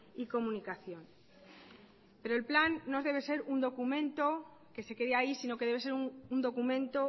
y comunicación pero el plan no debe ser un documento que se quede ahí sino que debe ser un documento